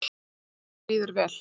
Mér líður vel.